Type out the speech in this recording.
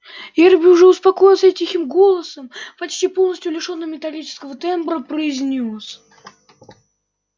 эрби уже успокоился и тихим голосом почти полностью лишённым металлического тембра произнёс